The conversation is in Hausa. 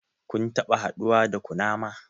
Kun taɓa haduwa da kunama?